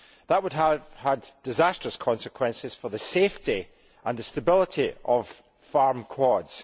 That would have had disastrous consequences for the safety and the stability of farm quads.